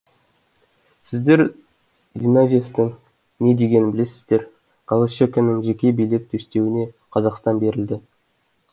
сіздер зиновьевтің не дегенін білесіздер голощекиннің жеке билеп төстеуіне қазақстан берілді